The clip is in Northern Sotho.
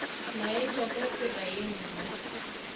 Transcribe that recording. laetša ka tsela ye nngwe